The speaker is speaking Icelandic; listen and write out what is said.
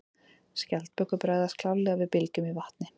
Skjaldbökur bregðast klárlega við bylgjum í vatni.